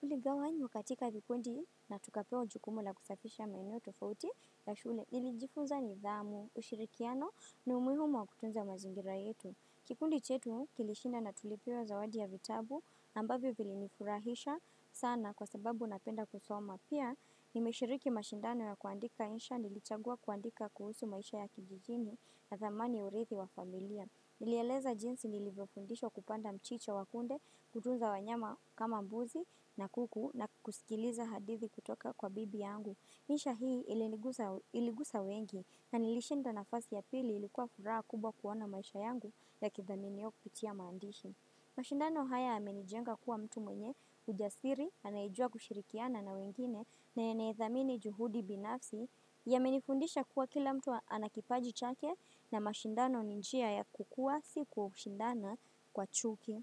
Tuligawanywa wakatika vikundi na tukapewa jukumu la kusafisha maeneo tofauti ya shule. Nilijifunza nidhamu, ushirikiano na umuhiumu wa kutunza mazingira yetu. Kikundi chetu kilishinda na tulipiwa zawadi ya vitabu, ambavyo vilinifurahisha sana kwa sababu napenda kusoma. Na pia, nimeshiriki mashindano ya kuandika insha, nilichagua kuandika kuhusu maisha ya kijijini na dhamani ya urithi wa familia. Nilieleza jinsi nilivyofundishwa kupanda mchicha wakunde, kutunza wanyama kama mbuzi na kuku na kusikiliza hadithi kutoka kwa bibi yangu. Insha hii iligusa wengi na nilishinda nafasi ya pili, ilikuwa furaha kubwa kuona maisha yangu yakithaminiwa kupitia maandishi. Mashindano haya yamenijenga kuwa mtu mwenye ujasiri, anayejua kushirikiana na wengine na anayedhamini juhudi binafsi. Yamenifundisha kuwa kila mtu ana kipaji chake na mashindano ni njia ya kukua si kushindana kwa chuki.